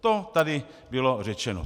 To tady bylo řečeno.